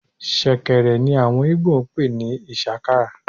shekèrè ní awọn Igbo n pe ni ishaka